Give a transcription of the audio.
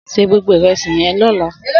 Sé gbógbó irèsí yèn lòlá